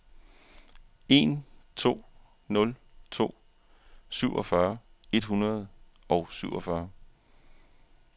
en to nul to syvogfyrre et hundrede og syvogfyrre